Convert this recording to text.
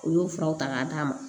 U y'o furaw ta k'a d'a ma